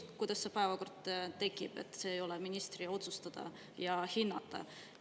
See, kuidas päevakord tekib, ei ole ministri otsustada ja hinnata.